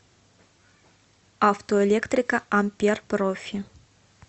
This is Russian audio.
автоэлектрика ампер профи